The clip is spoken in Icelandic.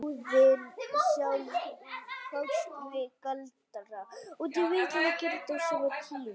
Goðin sjálf fást við galdra.